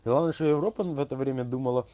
главное что европа в это время думала